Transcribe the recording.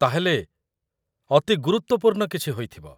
ତା'ହେଲେ, ଅତି ଗୁରୁତ୍ୱପୂର୍ଣ୍ଣ କିଛି ହୋଇଥିବ ?